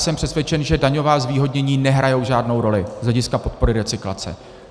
Jsem přesvědčen, že daňová zvýhodnění nehrají žádnou roli z hlediska podpory recyklace.